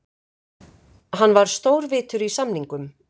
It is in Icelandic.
Hann var stórvitur í samningum.